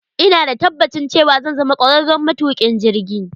Ina da tabbacin cewa zan zama kwararren matukin jirgi.